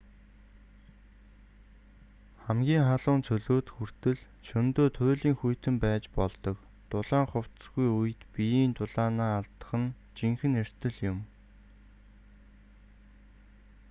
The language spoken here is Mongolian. хамгийн халуун цөлүүд хүртэл шөнөдөө туйлын хүйтэн байж болдог дулаан хувцасгүй үед биеийн дулаанаа алдах нь жинхэнэ эрсдэл юм